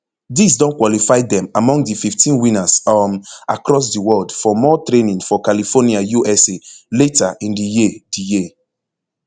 dis don qualify dem among di fifteen winners um across di world for more training for california usa later in di year di year